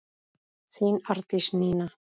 Þín Arndís Nína.